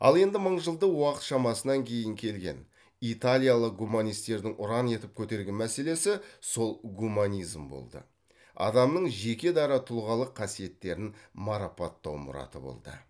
ал енді мыңжылдық уақыт шамасынан кейін келген италиялық гуманистердің ұран етіп көтерген мәселесі сол гуманизм болды адамның жеке дара тұлғалық қасиеттерін марапаттау мұраты болды